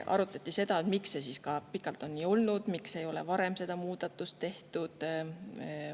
Arutati, miks see on pikalt nii olnud ja miks ei ole varem seda muudatust tehtud.